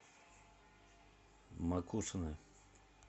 макушино